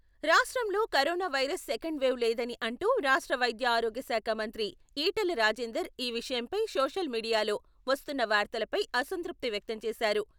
రాష్ట్రంలో corona virus second wave లేదని అంటూ రాష్ట్ర వైద్య ఆరోగ్యశాఖ మంత్రి ఈటెల రాజెందర్ ఈ విషయంపై సోషల్ మీడియాలో వస్తున్న వార్తలపై అసంతృప్తి వ్యక్తంచేశారు.